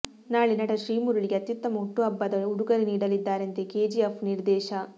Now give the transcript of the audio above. ನಾಳೆ ನಟ ಶ್ರೀಮುರಳಿಗೆ ಅತ್ಯುತ್ತಮ ಹುಟ್ಟುಹಬ್ಬದ ಉಡುಗೊರೆ ನೀಡಲಿದ್ದಾರಂತೆ ಕೆಜಿಎಫ್ ನಿರ್ದೇಶ